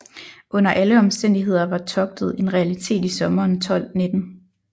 Under alle omstændigheder var togtet en realitet i sommeren 1219